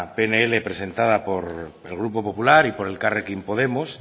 pnl presentado por el grupo popular y por elkarrekin podemos